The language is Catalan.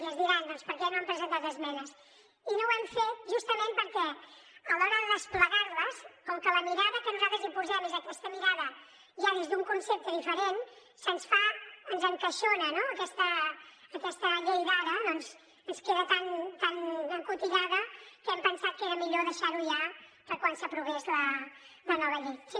i ens diran doncs per què no han presentat esmenes i no ho hem fet justament perquè a l’hora de desplegar les com que la mirada que nosaltres hi posem és aquesta mirada ja des d’un concepte diferent ens encaixona no aquesta llei d’ara ens queda tan encotillada que hem pensat que era millor deixar ho ja per quan s’aprovés la nova llei